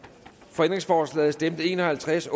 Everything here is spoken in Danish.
for ændringsforslaget stemte en og halvtreds